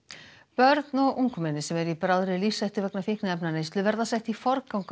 börn og ungmenni sem eru í bráðri lífshættu vegna fíkniefnaneyslu verða sett í forgang á